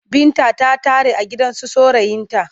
Binta ta tare a gidansu saurayinta.